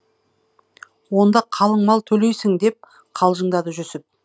онда қалың мал төлейсің деп қалжыңдады жүсіп